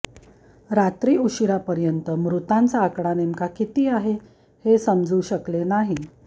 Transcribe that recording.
रात्री उशिरापर्यंत मृतांचा आकडा नेमका किती आहे हे समजू शकले नाही